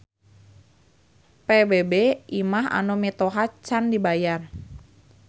PBB imah anu mitoha can dibayar